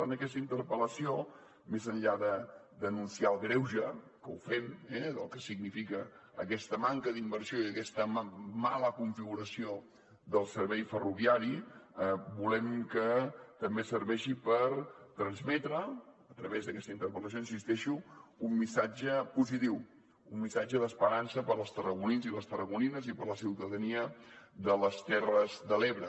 en aquesta interpel·lació més enllà de denunciar el greuge que ho fem del que significa aquesta manca d’inversió i d’aquesta mala configuració del servei ferroviari volem que també serveixi per transmetre a través d’aquesta interpel·lació hi insisteixo un missatge positiu un missatge d’esperança per als tarragonins i les tarragonines i per a la ciutadania de les terres de l’ebre